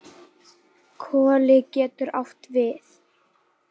Koli getur átt við